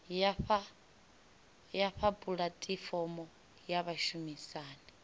ya fha pulatifomo ya vhashumisani